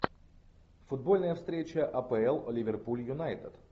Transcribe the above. футбольная встреча апл ливерпуль юнайтед